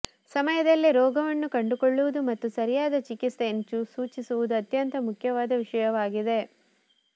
ಸಮಯದಲ್ಲೇ ರೋಗವನ್ನು ಕಂಡುಕೊಳ್ಳುವುದು ಮತ್ತು ಸರಿಯಾದ ಚಿಕಿತ್ಸೆಯನ್ನು ಸೂಚಿಸುವುದು ಅತ್ಯಂತ ಮುಖ್ಯವಾದ ವಿಷಯವಾಗಿದೆ